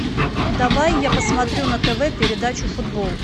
давай я посмотрю на тв передачу футбол